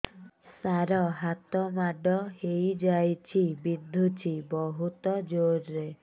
ସାର ହାତ ମାଡ଼ ହେଇଯାଇଛି ବିନ୍ଧୁଛି ବହୁତ ଜୋରରେ